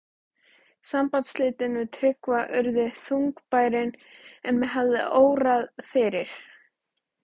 Sambandsslitin við Tryggva urðu þungbærari en mig hafði órað fyrir.